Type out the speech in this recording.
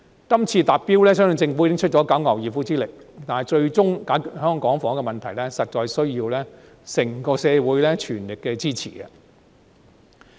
今次達標，相信政府已經用盡九牛二虎之力，但最終解決香港房屋的問題，實在有賴整個社會的全力支持。